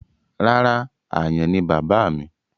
Rárá, àyàn ni bàbáà mi.